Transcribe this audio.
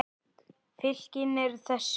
Fylkin eru þessi